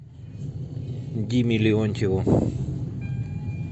диме леонтьеву